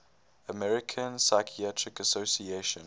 american psychiatric association